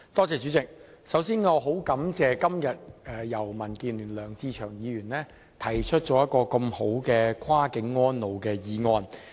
主席，我首先很感謝民主建港協進聯盟的梁志祥議員今天提出了一項這麼好的"跨境安老"議案。